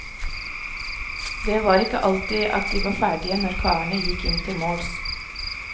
Det var ikke alltid at de var ferdige når karene gikk inn til måls.